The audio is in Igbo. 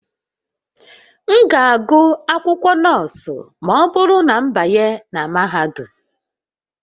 M ga-agụ akwụkwọ nọọsụ ma ọ bụrụ na m banye na mahadum